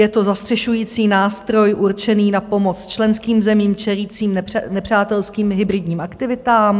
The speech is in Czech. Je to zastřešující nástroj určený na pomoc členským zemím čelícím nepřátelským hybridním aktivitám.